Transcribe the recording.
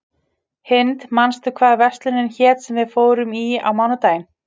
Hind, manstu hvað verslunin hét sem við fórum í á mánudaginn?